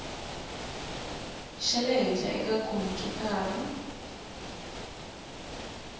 xa le henhla eka khompyutara